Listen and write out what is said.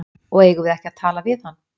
Og eigum við ekki að tala við hann?